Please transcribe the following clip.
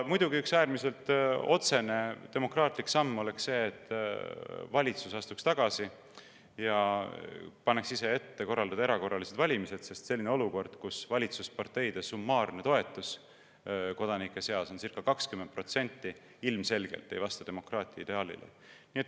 Muidugi oleks üks äärmiselt otsene demokraatlik samm see, kui valitsus astuks tagasi ja paneks ise ette korraldada erakorralised valimised, sest selline olukord, kus valitsusparteide summaarne toetus kodanike seas on circa 20%, ilmselgelt ei vasta demokraatia ideaalile.